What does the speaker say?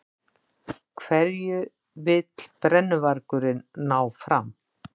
Hverju vill brennuvargurinn ná fram?